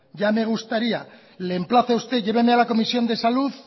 ya me gustaría le emplazo a usted llevame a la comisión de salud